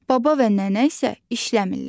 Baba və nənə isə işləmirlər.